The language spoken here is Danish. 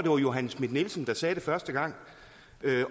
fru johanne schmidt nielsen der sagde det første gang